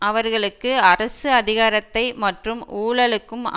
அவர்களுக்கு அரசு அதிகாரத்தை மற்றும் ஊழலுக்கும்